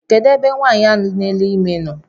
Kedụ ebe nwaanyị ahụ na ele ime nọ?